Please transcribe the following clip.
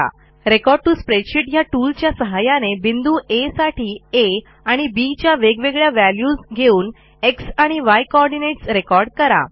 record टीओ spreadsheet ह्या टूलच्या सहाय्याने बिंदू आ साठी आ आणि bच्या वेगवेगळ्या व्हॅल्यूज घेऊन एक्स आणि य कोऑर्डिनेट्स रेकॉर्ड करा